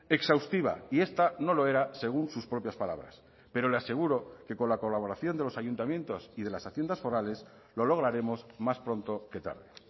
exhaustiva y esta no lo era según sus propias palabras pero le aseguro que con la colaboración de los ayuntamientos y de las haciendas forales lo lograremos más pronto que tarde